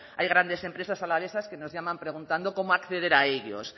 hay grandes empresas alavesas que nos llaman preguntando cómo acceder a ellos